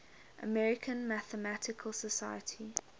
american mathematical society